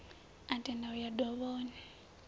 a tenda u ya dovhoni